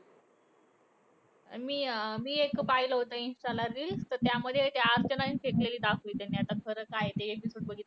मी अं मी एक पाहिलं होतं इन्स्टाला reel. तर त्यामध्ये ते अर्चनानी फेकलेलं दाखवलं त्यांनी. आता खरं काय आहे ते episode बघितल्यावर